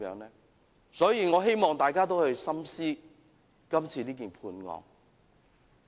因此，我希望大家深思今次的判決。